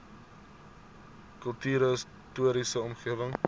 kultuurhis toriese omgewing